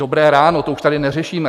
Dobré ráno, to už tady neřešíme.